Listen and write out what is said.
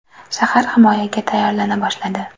Shahar himoyaga tayyorlana boshladi.